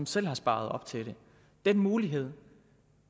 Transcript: selv har sparet op til den mulighed